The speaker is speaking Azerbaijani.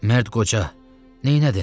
Mərd qoca, neylədin?